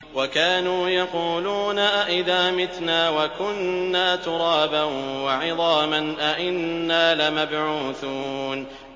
وَكَانُوا يَقُولُونَ أَئِذَا مِتْنَا وَكُنَّا تُرَابًا وَعِظَامًا أَإِنَّا لَمَبْعُوثُونَ